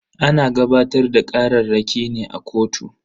Ana gabatar da kararraki ne a kotu.